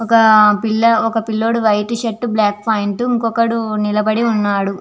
ఒక పిల్ల పిల్లోడు వైట్ షర్టు బ్లాకు పెయింట్ ఇంకొకడు నిలబడి ఉన్నాడు.